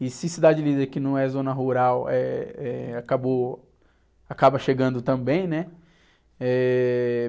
E se Cidade Líder, que não é zona rural, eh, eh, acabou, acaba chegando também, né?